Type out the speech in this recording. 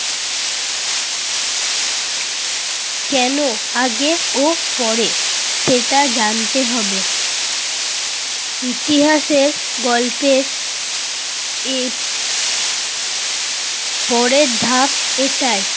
কেন আগে ও পরে এটা জানতে হবে। ইতিহাসে গল্পের এর পরের ধাপ এটাই।